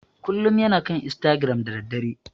Kullum yana kan istagiram da daddare.